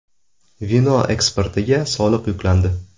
Vino eksportiga soliq yuklandi.